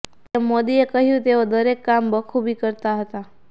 PM મોદીએ કહ્યું તેઓ દરેક કામ બખૂબી કરતા હતા